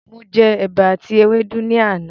Mo jẹ ẹ̀bà àti ewédú ni àná.